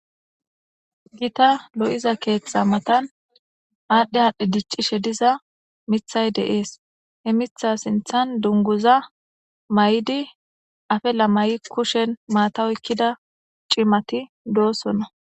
gita lo'iza keeththa matan aadhdhe haadhdhe diccishe diza mithay deees he mitha sinthan dunguza may'di afela mayi kushen maata oykkida cimati doosonna.